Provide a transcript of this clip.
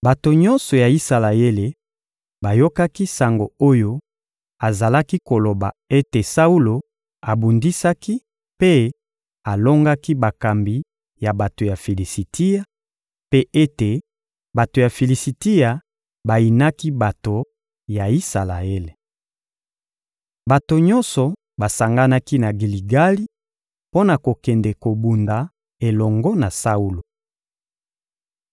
Bato nyonso ya Isalaele bayokaki sango oyo azalaki koloba ete Saulo abundisaki mpe alongaki bakambi ya bato ya Filisitia, mpe ete bato ya Filisitia bayinaki bato ya Isalaele. Bato nyonso basanganaki na Giligali mpo na kokende kobunda elongo na Saulo.